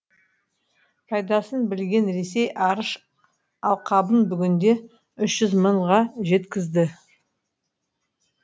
пайдасын білген ресей арыш алқабын бүгінде үш жүз мыңға жеткізді